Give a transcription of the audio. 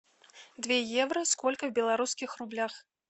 две евро сколько в белорусских рублях